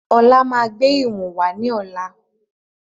Ọlá máa gbé ìwọ̀n wá ní ọ̀la.